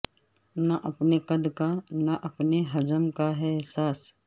نہ اپنے قد کا نہ اپنے حجم کا ہے احساس